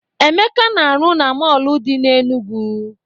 Emeka na-arụ na mọọlụ dị n'Enugwu.